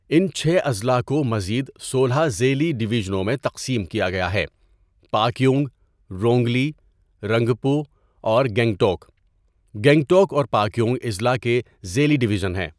ان چھ اضلاع کو مزید سولہ ذیلی ڈویژنوں میں تقسیم کیا گیا ہے؛ پاکیونگ، رونگلی، رنگپو اور گنگٹوک، گنگٹوک اور پاکیونگ اضلاع کے ذیلی ڈویژن ہیں۔